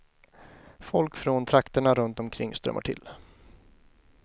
Folk från trakterna runt omkring strömmar till.